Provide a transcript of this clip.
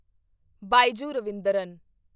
Byju Raveendran